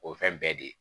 O ye fɛn bɛɛ de ye